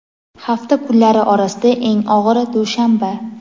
hafta kunlari orasida eng og‘iri – dushanba.